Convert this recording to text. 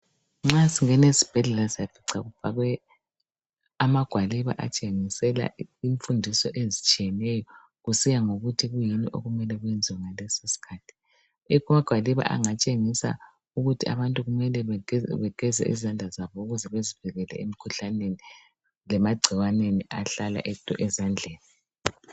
Nxa singena ezibhedlela siyafica kufakwe amagwaliba atshengisela imfundiso ezitshiyeneyo. Kusiya ngokuthi kuyini okumele kwenziwe ngalesosikhathi. Amagwaliba angatshengisa ukuthi abantukimele bageze izandla zabo, ukuze bazivikele kumagcikwane, angahlala ezandleni.